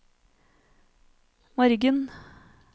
morgen